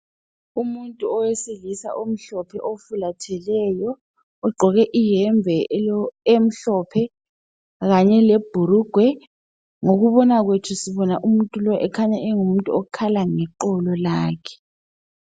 Umuntu owesilisa omhlophe ufalatheleyo. Ugqoke ihembe emhlophe khanye lebhulugwe . Ngokubona kwethu sibona umuntu lo ekhanya engumuntu ekhala lexolo lakhe.